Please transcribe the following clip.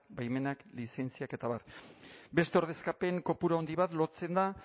baimenak lizentziak eta abar beste ordezkapen kopuru handi bat lotzen da